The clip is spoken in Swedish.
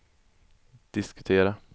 diskutera